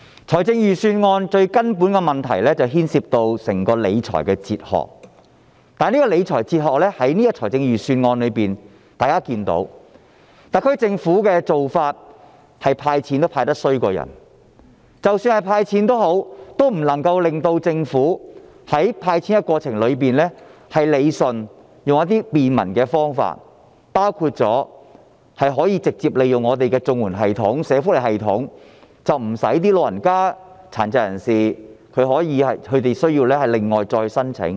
財政預算案最根本的問題牽涉到整個理財哲學，而就預算案中的理財哲學來說，大家也看到特區政府"派錢"也派得比人差，即使是"派錢"，也不能夠在過程中理順有關的安排，沒有採用便民的方法，包括直接利用本港的綜合社會保障援助及社會福利系統，使長者和殘疾人士無須另行申請。